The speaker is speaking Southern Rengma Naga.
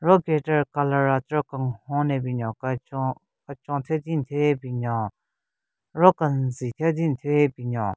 Ro guitar colour atero kenhon ne binyon kechon kechon thyu din thyu ye binyon ro kenzi thyu din thyu ye binyon.